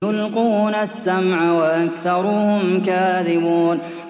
يُلْقُونَ السَّمْعَ وَأَكْثَرُهُمْ كَاذِبُونَ